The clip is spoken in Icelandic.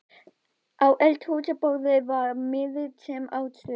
Á eldhúsborðinu var miði, sem á stóð